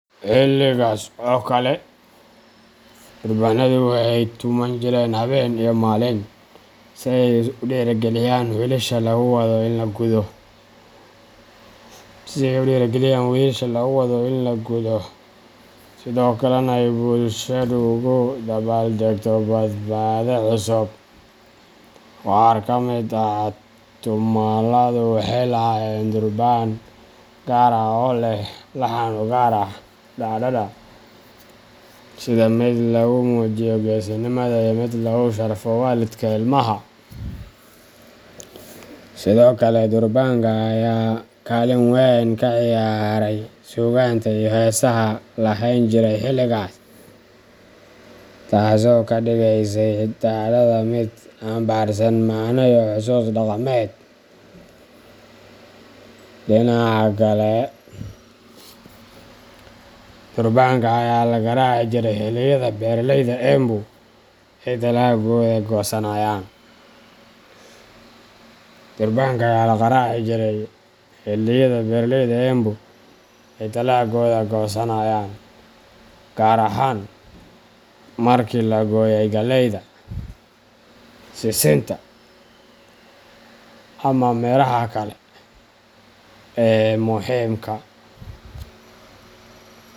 Xilligaas oo kale, durbaanadu waxay tuman jireen habeen iyo maalin si ay u dhiirrigeliyaan wiilasha lagu wado in la gudo, sidoo kalena ay bulshadu ugu dabaaldegto badhaadhe cusub. Qaar ka mid ah tumaaladu waxay lahaayeen durbaan gaar ah oo leh laxan u gaar ah dhacdada. sida mid lagu muujiyo geesinimada iyo mid lagu sharfayo waalidka ilmaha. Sidoo kale, durbaanka ayaa kaalin weyn ka ciyaarayay suugaanta iyo heesaha la laheyn jiray xilligaas, taasoo ka dhigaysay dhacdada mid xambaarsan macne iyo xusuus dhaqameed. Dhinaca kale, durbaanka ayaa la garaaci jiray xilliyada beeralayda Embu ay dalaggooda goosanayaan, gaar ahaan markii la gooyay galleyda, sisinta ama miraha kale ee muhiimka.